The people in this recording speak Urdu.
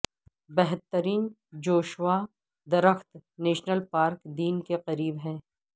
بہترین جوشوا درخت نیشنل پارک دن کے قریب ہے